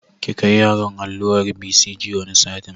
Ki kai yaron allurar BCG wani satin